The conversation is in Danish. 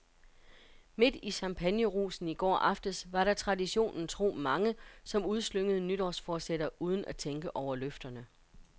Midt i champagnerusen i går aftes var der traditionen tro mange, som udslyngede nytårsforsætter uden at tænke over løfterne.